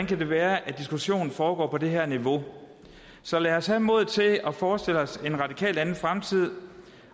kan være at diskussionen foregår på det her niveau så lad os have modet til at forestille os en radikalt anden fremtid